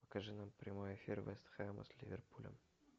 покажи нам прямой эфир вест хэма с ливерпулем